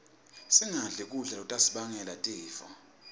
singadli kudla lokutasibangela tifo